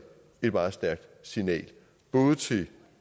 et meget stærkt signal både til